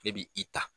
Ne bi i ta